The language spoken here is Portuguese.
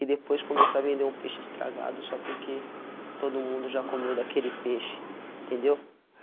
e depois começar a vender um peixe estragado só porque todo mundo já comeu daquele peixe, entendeu?